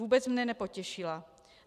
Vůbec mě nepotěšila.